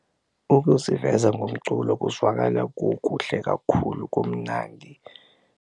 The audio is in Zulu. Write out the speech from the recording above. Ukuziveza ngomculo kuzwakala kukuhle kakhulu kumnandi.